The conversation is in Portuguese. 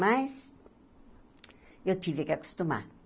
Mas... eu tive que acostumar.